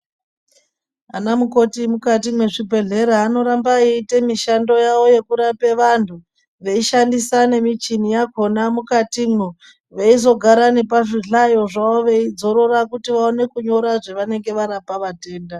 Ana mukoti mukati mwezvibhedhlera anoramba eite mishando yawo yekurape vantu veishandisa nemichini yakhona mukatimwo veizogara nepazvihlayo zvavo veidzorora kuti vaone kunyora zvavanenge varapa vatenda